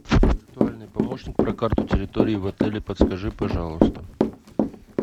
виртуальный помощник про карту территории в отеле подскажи пожалуйста